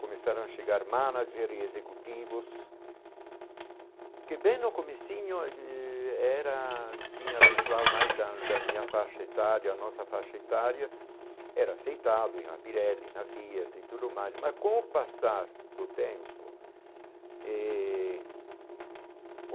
começaram a chegar manager e executivos, que bem no comecinho eh era tinha pessoal mais da da minha faixa etária, a nossa faixa etária, era aceitado na Pirelli, na Fiat e tudo mais, mas com o passar do tempo eh?